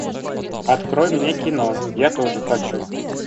открой мне кино я тоже хочу